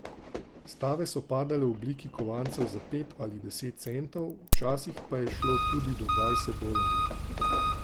Stave so padale v obliki kovancev za pet ali deset centov, včasih pa je šlo tudi do dvajset dolarjev.